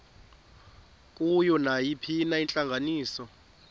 kuyo nayiphina intlanganiso